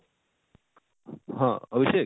ହଁ, ଅଭିଷେକ